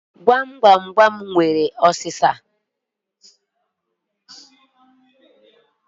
Agwụgwa na-enwekarị ụ́sà.